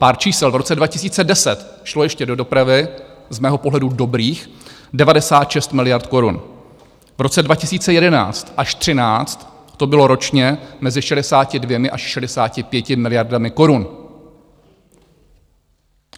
Pár čísel - v roce 2010 šlo ještě do dopravy - z mého pohledu dobrých - 96 miliard korun, v roce 2011 až 2013 to bylo ročně mezi 62 až 65 miliardami korun.